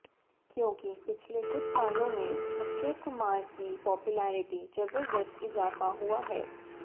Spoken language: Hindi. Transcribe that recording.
क्योंकि पिछले कुछ सालों में अक्षय कुमार की पॉपुलरिटी जबदस्त इजाफा हुआ हैं